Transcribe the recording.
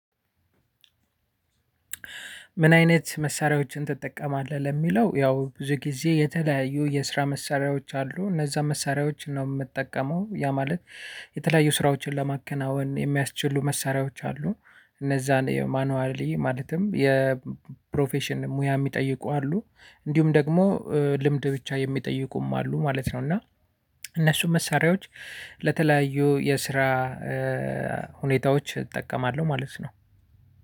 ምን አይነት መሳሪያዎችን ትጠቀማለህ? ለሚለው ያው ብዙ ጊዜ የተለያዩ የስራ መሳሪያዎች አሉ እነዛ መሳሪያዎችን ነው የምጠቀመው ያ ማለት የተለያዩ ስራዎችን ለማከናወን የሚያስችሉ መሳሪያዎች አሉ። እነዛን ማኑዋሊ ማለትም የፕሮፌሽን ሙያ የሚጠይቁ አሉ እንዲሁም ደግሞ ልምድ ብቻ የሚጠይቁም አሉ ማለት ነው። እና እነሱም መሳሪያዎች ለተለያዩ የስራ ሁኔታዎች እጠቀማለሁ ማለት ነው።